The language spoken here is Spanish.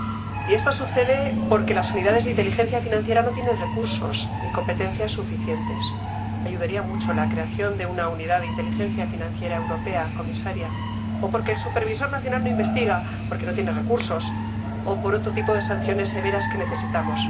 Y esto sucede porque las unidades de inteligencia financiera no tienen recursos ni competencias suficientes —ayudaría mucho la creación de una unidad de inteligencia financiera europea, comisaria— o porque el supervisor nacional no investiga, porque no tiene recursos, o por otro tipo de sanciones severas que necesitamos.